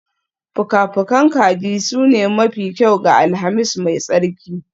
Fuka-fukan kaji sune mafi kyau ga Alhamis mai tsarki